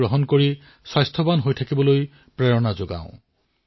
আহক পোষণ মাহত পুষ্টিদায়ক খাদ্য খোৱা আৰু সুস্থ হৈ থকাৰ বাবে সকলোকে অনুপ্ৰেৰিত কৰো